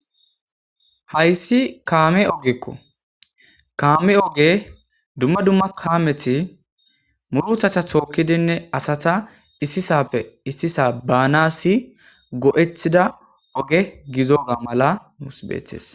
Hayssi kaame ogekko kaame oge dumma dumma kaameti muruthatha tookkidinne asata issisappe issisa baanassi go'ethida oge gizoga mala nuus beethtes.